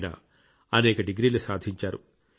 ఆయన అనేక డిగ్రీలు సాధించారు